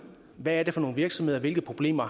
hvad det er for nogle virksomheder hvilke problemer